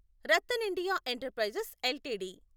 RattanIndia enterprises LTD